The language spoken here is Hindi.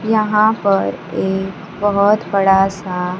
यहां पर एक बहोत बड़ा सा--